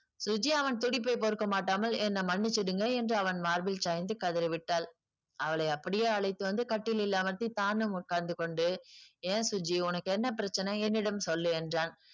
சுஜி அவன் துடிப்பை பொறுக்க மாட்டாமல் என்னை மன்னிச்சிடுங்க என்று அவன் மார்பில் சாய்ந்து கதறிவிட்டாள் அவளை அப்படியே அழைத்து வந்து கட்டிலில் அமர்த்தி தானும் உட்கார்ந்து கொண்டு ஏன் சுஜி உனக்கு என்ன பிரச்சனை என்னிடம் சொல்லு என்றான்